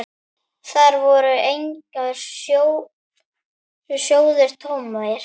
Þar voru engir sjóðir tómir.